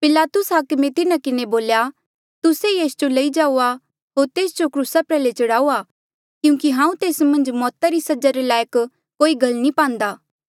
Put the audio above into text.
पिलातुस हाकमे तिन्हा किन्हें बोल्या तुस्से ई एस जो लई जाऊआ होर तेस जो क्रूसा प्रयाल्हे चढ़ाऊआ क्यूंकि हांऊँ तेस मन्झ मौता री सजा रे लायक कोई गल नी पांदा